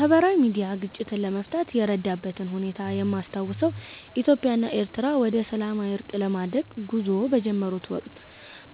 ማህበራዊ ሚድያ ግጭትን ለመፍታት የረዳበትን ሁኔታ የማስታውሰው ኢትዮጵያ እና ኤሪትሪያ ወደሰላማዊ እርቅ ለማድረግ ጉዞ በጀመሩት ወቅት